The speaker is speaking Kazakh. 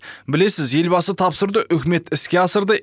білесіз елбасы тапсырды үкімет іске асырды